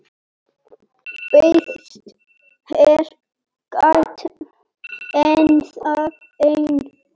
Býðst hér gáta ennþá ein,.